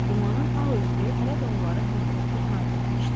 Dumanın ağ örtüyü hələ də onları hərtərəfli əhatə etmişdi.